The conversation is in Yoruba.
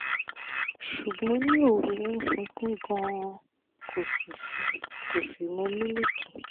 ṣùgbọ́n ní òru ó sunkún gan-an kò sì sùn kò sì mu milk